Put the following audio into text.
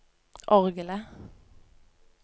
orgelet